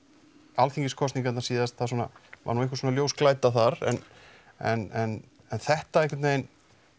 Alþingiskosningarnar síðast það svona var nú einhvers konar ljósglæta þar en en en þetta einhvern veginn